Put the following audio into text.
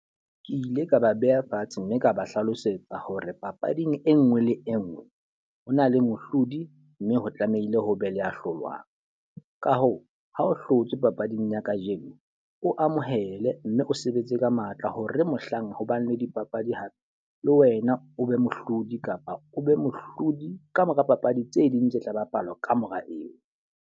Ke ile ka ba beha fatshe mme ka ba hlalosetsa hore papading e nngwe le e nngwe, ho na le mohlodi mme ho tlamehile ho be le ya hlolwang. Ka hoo, ha o hlotswe papading ya kajeno, o amohele mme o sebetse ka matla hore mohlang hobang dipapadi hape le wena o be mohlodi kapa o be mohlodi ka mora papadi tse ding tse tla bapalwa kamora eo.